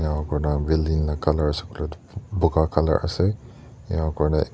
enaka koina building colour ase koiley tu boga colour ase ena koina--